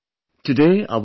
My dear countrymen,